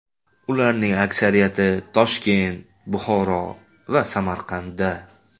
Ulardan aksariyati Toshkent, Buxoro va Samarqandda.